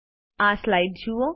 આ સ્લાઇડ જુઓ